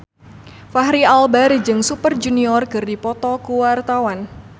Fachri Albar jeung Super Junior keur dipoto ku wartawan